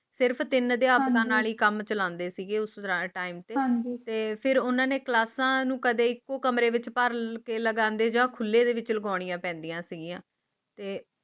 ਸਿਰਫ ਤਿਲ ਦੀ ਆਮਦ ਨਾਲ ਹੀ ਕੰਮ ਚਲਾ ਦੇਸੀ ਘਿਓ ਉਸ ਟਾਈਮ ਹਾਂ ਜੀ ਤੇ ਉਨ੍ਹਾਂ ਨੇ ਕਲਾਸਾਂ ਨੂੰ ਕਦੇ ਇੱਕੋ ਕਮਰੇ ਵਿਚ ਭਰ ਕੇ ਲਗਣੇ ਜਾਓ ਖੁੱਲੇ ਦਿਲ ਵਿੱਚ ਦਬਾਉਣੀ ਪੈਂਦੀ ਹੈ ਤਯ